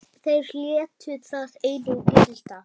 Þeir létu það einu gilda.